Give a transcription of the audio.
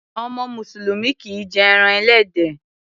Ọmọ mùsùlùmí kìí jé eran ẹlẹ́dẹ̀.